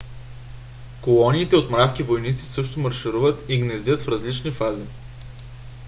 колониите от мравки-войници също маршируват и гнездят в различни фази